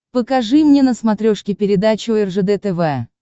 покажи мне на смотрешке передачу ржд тв